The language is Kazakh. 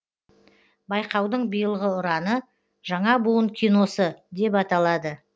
байқаудың биылғы ұраны жаңа буын киносы деп аталады